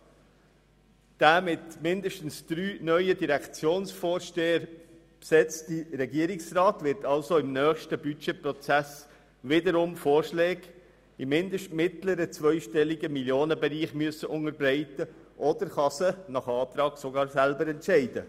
Der mit mindestens drei neuen Direktionsvorstehern besetzte Regierungsrat wird somit im nächsten Budgetprozess wiederum Vorschläge im mindestens mittleren zweistelligen Millionenbereich unterbreiten müssen, oder er kann sie je nach dem sogar selber beschliessen.